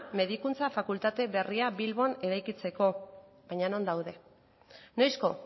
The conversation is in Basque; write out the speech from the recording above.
medikuntza fakultate berria bilbon eraikitzeko baina non daude noizko